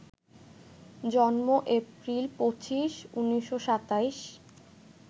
জন্ম এপ্রিল ২৫, ১৯২৭